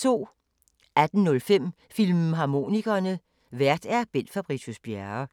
18:05: Filmharmonikerne: Vært Bent Fabricius-Bjerre